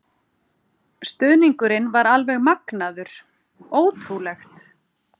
Stuðningurinn var alveg magnaður, ótrúlegt.